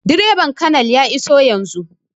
Direban colonel ya iso yanzun